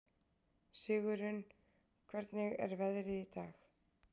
Sigurunn, hvernig er veðrið í dag?